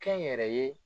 Kɛnyɛrɛye